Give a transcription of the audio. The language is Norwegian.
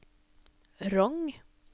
Rong